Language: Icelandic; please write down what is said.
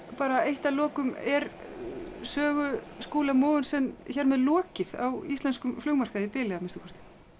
bara eitt að lokum er Sögu Skúla Mogensen hér með lokið á íslenskum flugmarkaði í bili að minnsta kosti